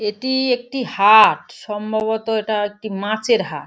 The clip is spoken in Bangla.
এটি একটি হাট। সম্ভবতঃ এটা একটা মাছের হাট।